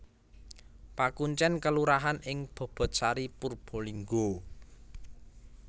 Pakuncèn kelurahan ing Bobotsari Purbalingga